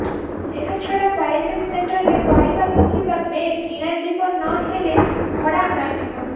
ଏହାଛଡ଼ା କ୍ୱାରେଣ୍ଟିନ ସେଣ୍ଟରରେ ପଡ଼ିବାକୁ ଥିବା ବେଡ କିଣାଯିବ ନ ହେଲେ ଭଡ଼ା ଅଣାଯିବ